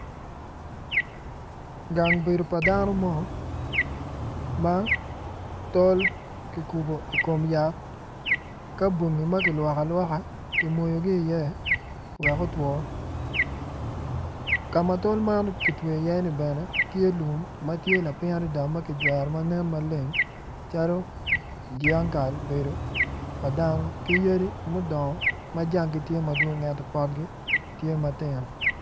Gang bedo pa dano mo ma tol ki kubo ikom yat ka bongi ma kilwoko alwoka ki moyogi i iye wek otwo kama tol ma gitweyo i iye ni bene tye lum matye lapiny adada ma kijwero manen maleng calo dyang kal bedo pa dano ki yadi mudongo ma jangi tye madwong ento potgi tye matino